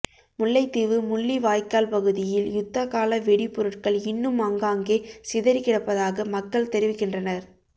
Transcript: முல்லைத்தீவு முள்ளிவாய்க்கால் பகுதியில் யுத்த கால வெடிபொருட்கள் இன்னும் ஆங்காங்கே சிதறிக்கிடப்பதாக மக்கள் தெரிவிக்கின்றனர்